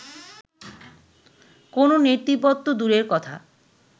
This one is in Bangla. কোনো নেতৃপদ তো দূরের কথা